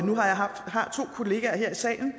har to kollegaer her i salen